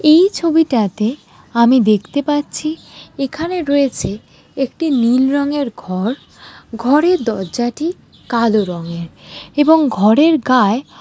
এই ছবিটাতেআমি দেখতে পাচ্ছি এখানে রয়েছেএকটি নীল রঙের ঘর ঘরের দরজাটিকালো রঙের এবং ঘরের গায়--